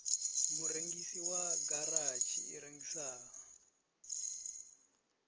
murengisi wa garatshi i rengisaho